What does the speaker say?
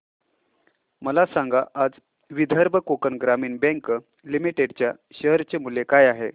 मला सांगा आज विदर्भ कोकण ग्रामीण बँक लिमिटेड च्या शेअर चे मूल्य काय आहे